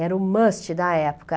Era o must da época.